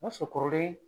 O y'a sɔrɔ kɔrɔlen